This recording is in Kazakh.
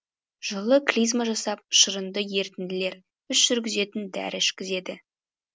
жылы клизма жасап шырынды ерітінділер іш жүргізетін дәрі ішкізеді